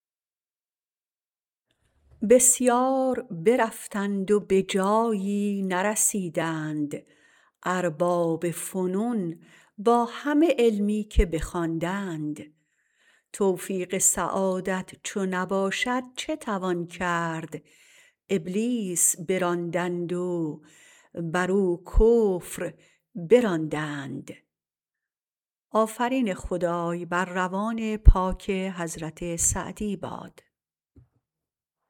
بسیار برفتند و به جایی نرسیدند ارباب فنون با همه علمی که بخواندند توفیق سعادت چو نباشد چه توان کرد ابلیس براندند و برو کفر براندند